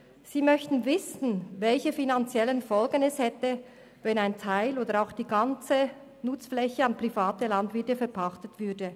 Der Postulant möchte wissen, welche finanziellen Folgen es hätte, wenn ein Teil oder auch die ganze Nutzfläche an private Landwirte verpachtet würde.